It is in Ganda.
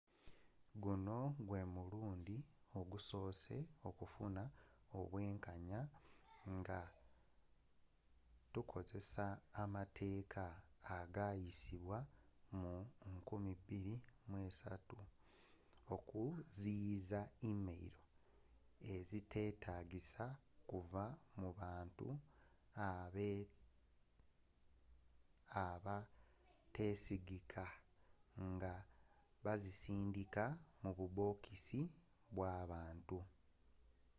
guno gwe mulundi ogukyasoose okufuna obwenkanya nga tukozesa amateeka agayisibwa mu 2003 okuziyiza email eziteetagisa okuva mu bantu abateesigika nga bazisindika mu bubokisi bw'abantu